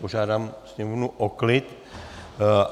Požádám sněmovnu o klid.